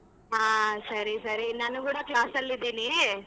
ಹಾ ಸರಿ ಸರಿ ನಾನು ಕೂಡ class ಅಲ್ ಇದೀನಿ.